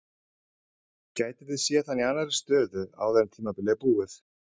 Gætum við séð hann í annarri stöðu áður en tímabilið er búið?